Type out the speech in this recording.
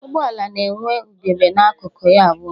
Ụgbọala na-enwe ugegbe na-akụkụ ya abụọ